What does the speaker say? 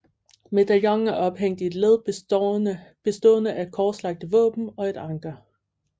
Medaljonen er ophængt i et led bestående af korslagte våben og et anker